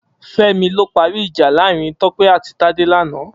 Femi ló pàrí ijà láàrin Tope àtí Tade làná